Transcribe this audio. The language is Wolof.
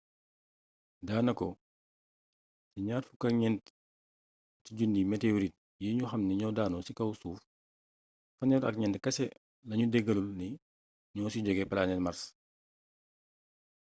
daanako ci 24 000 météorite yi ñu xamni ñoo daanu ci kaw suuf 34 kese lañu dëggalagul ni ñoo ci jogee planete mars